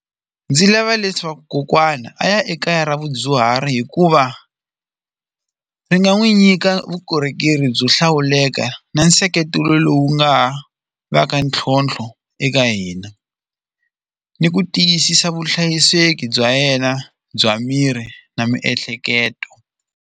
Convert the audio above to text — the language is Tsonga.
Ndzi lava leswaku kokwana a ya ekaya ra vadyuhari hikuva ri nga n'wi nyika vukorhokeri byo hlawuleka na nseketelo lowu nga va ka ntlhontlho eka hina ni ku tiyisisa vuhlayiseki bya yena bya miri na miehleketo.